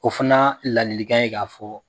O fanaa ladilikan ye k'a fɔ